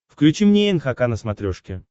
включи мне нхк на смотрешке